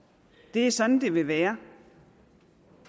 det er sådan det vil være